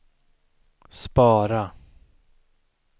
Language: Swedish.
spara